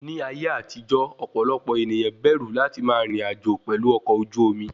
Ní ayé àtijó, ọ̀pọ̀lọpọ̀ ènìyàn bẹ̀rù láti máa rìn rìn àjò pelu ọkọ̀ ojú omi